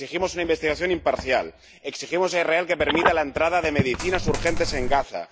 exigimos una investigación imparcial exigimos a Israel que permita la entrada de medicinas urgentes en Gaza.